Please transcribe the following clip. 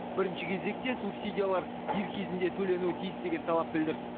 бірінші кезекте субсидиялар дер кезінде төленуі тиіс деген талап білдірді